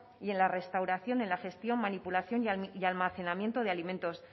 y en la restauración en la gestión manipulación y almacenamiento de alimentos